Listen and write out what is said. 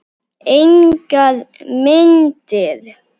Engar myndir.